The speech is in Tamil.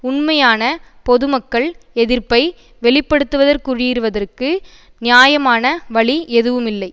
உண்மையான பொதுமக்கள் எதிர்ப்பை வெளிப்படுத்துவதற்குயிடுவதற்கு நியாயமான வழி எதுவுமில்லை